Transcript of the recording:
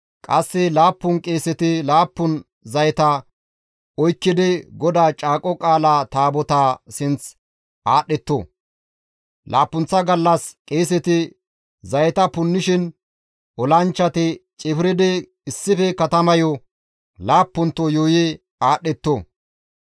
Qasse laappun qeeseti laappun zayeta oykkidi GODAA Caaqo Qaala Taabotaa sinth aadhdhetto; laappunththa gallas qeeseti zayeta punnishin olanchchati cifridi issife katamayo laappunto yuuyi aadhdhetto.